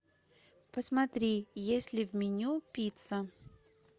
посмотри есть ли в меню пицца